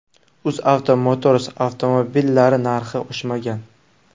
UzAvto Motors avtomobillari narxi oshmagan.